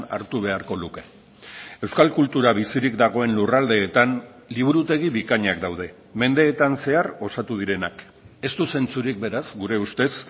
hartu beharko luke euskal kultura bizirik dagoen lurraldeetan liburutegi bikainak daude mendeetan zehar osatu direnak ez du zentzurik beraz gure ustez